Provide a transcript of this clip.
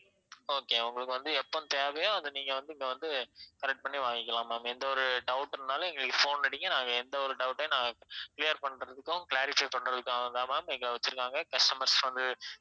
okay உங்களுக்கு வந்து எப்ப தேவையோ அத நீங்க வந்து இங்க வந்து correct பண்ணி வாங்கிக்கலாம் ma'am எந்த ஒரு doubt இருந்தாலும் எங்களுக்கு phone அடிங்க நாங்க எந்த ஒரு doubt யும் நாங்க clear பண்றதுக்கும் clarify பண்றதுக்காகவும் தான் ma'am எங்களை வெச்சிருக்காங்க customers வந்து